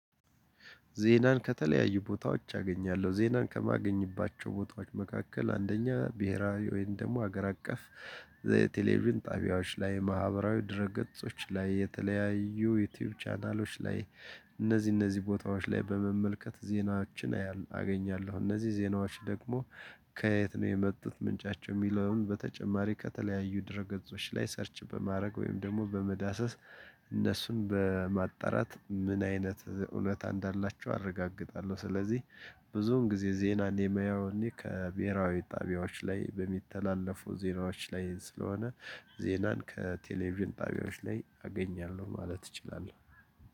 ዜናን ከተለያዩ ቦታዎች አገኛለሁ። ዜናን ከማገኝባቸው ቦታዎች መካከል አንደኛ :-ብሄራዊ ወይም ደግሞ ሀገር አቀፍ- ዘ ቴሌቪዥን ጣቢያዎች ላይ :ማህበራዊ ድረ ገጾች ላይ :የተለያዩ ዩቲዩብ ቻናሎች ላይ እነዚህ እነዚህ ቦታዎች ላይ በመመልከት ዜናችን አገኛለሁ። እነዚህ ዜናዎች ደግሞ- ከየት ነው የመጡት ምንጫቸው? የሚለውን በተጨማሪ ከተለያዩ ድረ ገጾች ላይ ሰርች በማድረግ ወይም ደግሞ በመዳሰስ እነሱን በማጣራት ምን አይነት እውነታ እንዳላቸው አረጋግጣለሁ። ስለዚህ- ብዙውን ጊዜ ዜናን የማየው እኔ ከብሄራዊ ጣቢያዎች ላይ በሚተላለፉ ዜናዎች ላይ ስለሆነ- ዜናን ከቴሌቪዥን ጣቢያዎች ላይ አገኛለሁ ማለት እችላለሁ።